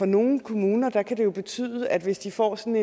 nogle kommuner kan det jo betyde at hvis de får sådan